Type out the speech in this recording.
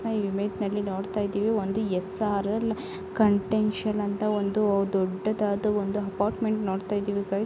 ನಾವು ಈ ಇಮೇಜ್ ನಲ್ಲಿ ನೋಡ್ತ ಇದ್ದೀವಿ ಒಂದು ಎಸ್.ಆರ್.ಕನ್ವೆಂಷನಲ್ ಅಂತ ಒಂದು ದೊಡ್ಡದಾದ ಒಂದು ಅಪ್ಪಾರ್ಟ್ಮೆಂಟ್ ನೋಡ್ತಾಯಿದ್ದೇವೆ ಗೈಸ .